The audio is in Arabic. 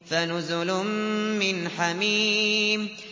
فَنُزُلٌ مِّنْ حَمِيمٍ